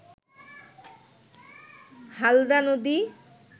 হালদা নদী